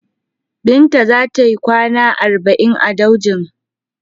Binta za ta yikwana arba'in a daujin.